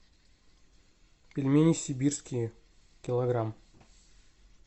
пельмени сибирские килограмм